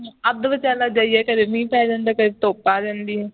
ਅੱਧ-ਵਿਚਾਲੇ ਜਾਈਏ ਤੇ ਕਦੀ ਮੀਂਹ ਪੈ ਜਾਂਦਾ ਹੈ ਕਦੀ ਧੁੱਪ ਆ ਜਾਂਦੀ ਹੈ